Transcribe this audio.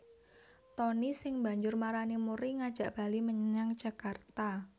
Tonny sing banjur marani Murry ngajak bali menyang Jakarta